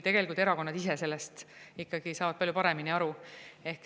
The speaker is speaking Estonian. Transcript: Tegelikult erakonnad ise saavad sellest ikkagi palju paremini aru.